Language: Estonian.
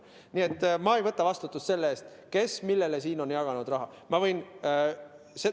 Nii et ma ei võta vastutust selle eest, kes millele siin on raha jaganud.